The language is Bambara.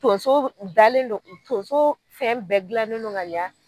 Tonso dalen don Tonso fɛn bɛɛ gilannen don ka yan